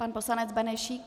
Pan poslanec Benešík.